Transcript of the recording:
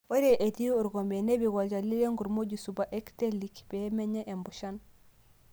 Ore etii orkompe, nipik olchani lenkurma oji super actellic pee menya mpushan.